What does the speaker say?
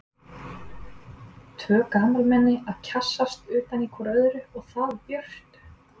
Tvö gamalmenni að kjassast utan í hvort öðru- og það í björtu!